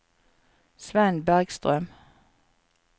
Svend Bergstrøm